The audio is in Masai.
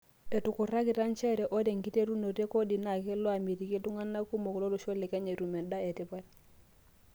Etukurakita njere ore enkiterunoto e kodi naa kelo amitiki iltunganak kumok lolosho le Kenya etum endaa etipat.